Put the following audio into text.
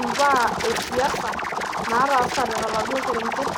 imbaa esiasa naatasate toladuo kereget.